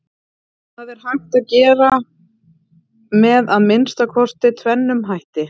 Það er hægt að gera með að minnsta kosti tvennum hætti.